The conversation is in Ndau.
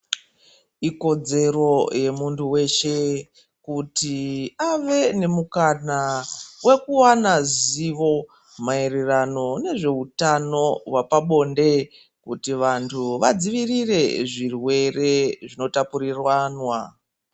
Ikodzero yemuntu weshe kuti ave nemukana wekuwana zivo mairirano nezveutano hwapabonde kuti vantu vadzivirire zvirwere zvinotapurirwana .